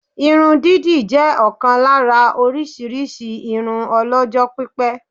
Irun dídì jẹ́ ọ̀kan lára orísirísi irun ọlọ́jọ́ pípẹ́